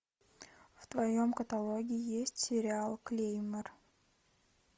в твоем каталоге есть сериал клеймор